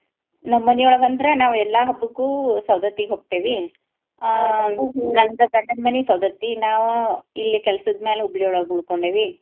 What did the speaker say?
ನಮ್ ಮನಿ ಒಳ್ಗ ಅಂದ್ರ ನಾವ್ ಎಲ್ಲಾ ಹಬ್ಬಕ್ಕು ಸೌದತ್ತಿಗ್ ಹೋಗ್ತೇವಿ ನಂದ ಗಂಡನ್ ಮನಿ ಸೌದತ್ತಿ ನಾವು ಇಲ್ಲಿ ಕೆಲ್ಸದ್ ಮ್ಯಾಲ ಹುಬ್ಳಿ ಒಳ್ಗ ಉಳ್ಕೋಂಡಿವಿ.